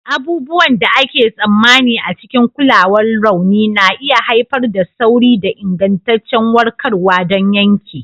Abubuwan da ake tsammani a cikin kulawar rauni na iya haifar da sauri da ingantaccen warkarwa don yanke.